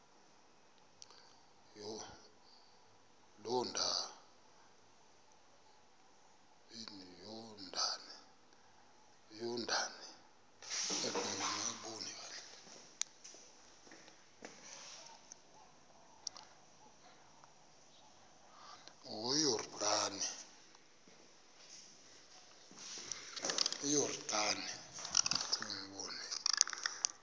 yordane